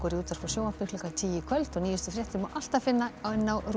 útvarpi og sjónvarpi klukkan tíu í kvöld og nýjustu fréttir má alltaf finna á